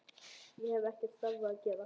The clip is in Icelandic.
Ég hef ekkert þarfara að gera.